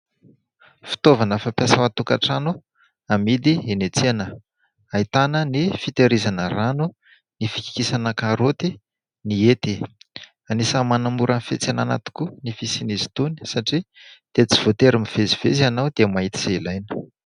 Fitaovana fampiasa ao an-tokatrano, amidy eny an-tsena, ahitana : ny fitehirizana rano, ny fikikisana karôty, ny hety... Anisany manamora ny fiantsenana tokoa ny fisian'izy itony, satria dia tsy voatery mivezivezy ianao dia mahita izay ilaina.